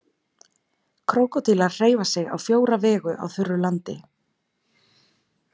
Krókódílar hreyfa sig á fjóra vegu á þurru landi.